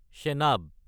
Chenab